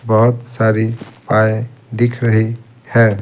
बहुत सारी दिख रही है।